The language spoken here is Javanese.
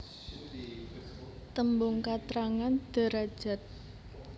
Tembung katrangan derajad